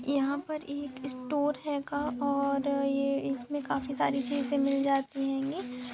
यहाँ पर एक स्टोर हैगा और ये इसमें काफी सारे चीजें मिलती जाती हैंगी ।